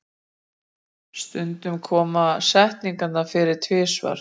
stundum koma setningarnar fyrir tvisvar